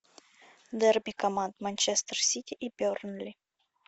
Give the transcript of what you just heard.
дерби команд манчестер сити и бернли